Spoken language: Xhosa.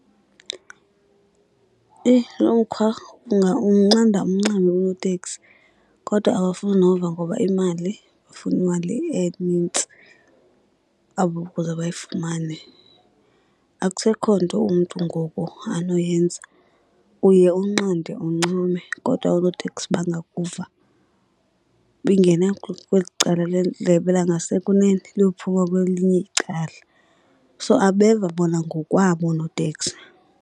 Eyi, lo mkhwa! Umnqanda umncame unoteksi kodwa abafuni nova ngoba imali, bafuna imali enintsi abo bayifumane. Akusekho nto umntu ngoku anoyenza, uye unqande uncame kodwa oonoteksi bangakuva. Ingena kweli cala lendlebe langasekunene liyophuma kwelinye icala. So abeva bona ngokwabo oonoteksi.